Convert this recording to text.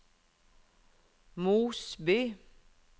Mosby